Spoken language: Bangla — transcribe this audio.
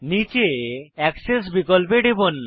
নীচে এক্সেস বিকল্পে টিপুন